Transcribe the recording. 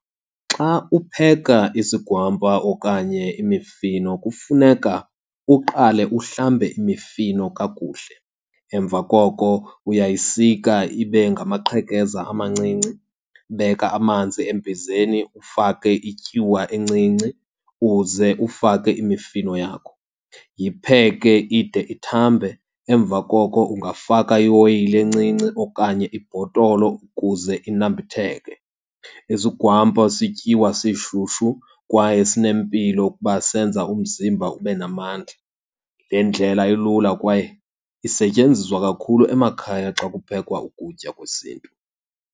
Xa upheka isigwampa okanye imifino kufuneka uqale uhlambe imifino kakuhle, emva koko uyayisika ibe ngamaqhekeza amancinci. Beka amanzi embizeni ufake ityuwa encinci, uze ufake imifino yakho. Yipheke ide ithambe, emva koko ungafaka ioyile encinci okanye ibhotolo ukuze inambitheke. Isigwampa sityiwa sishushu kwaye sinempilo ukuba senza umzimba ube namandla. Le ndlela ilula kwaye isetyenziswa kakhulu emakhaya xa kuphekwa ukutya kwesiNtu.